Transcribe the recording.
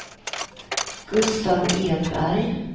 Gustav Edberg